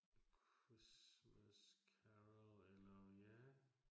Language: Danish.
The Christmas Carol eller ja